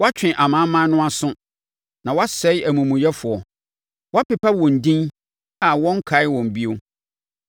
Woatwe amanaman no aso, na woasɛe amumuyɛfoɔ. Woapepa wɔn din a wɔrenkae wɔn bio.